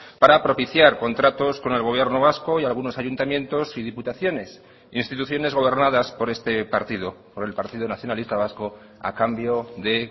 para propiciar contratos con el gobierno vasco y algunos ayuntamientos y diputaciones instituciones gobernadas por este partido por el partido nacionalista vasco a cambio de